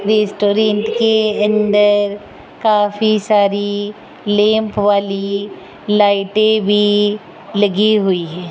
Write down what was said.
Restaurant के अंदर काफी सारी लैंप वाली लाइटें भी लगी हुई हैं।